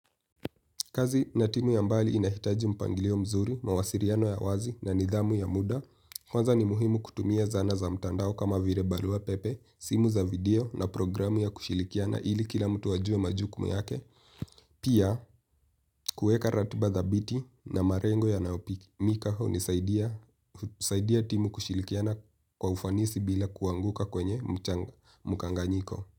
Kazi na timu ya mbali inahitaji mpangilio mzuri, mawasiliano ya wazi na nidhamu ya muda. Kwanza ni muhimu kutumia zana za mtandao kama vile barua pepe, simu za video na programu ya kushilikiana ili kila mtu wajue majukumu yake. Pia, kuweka ratiba za thabiti na marengo ya nayopimika hu saidia timu kushilikiana kwa ufanisi bila kuanguka kwenye mkanganyiko.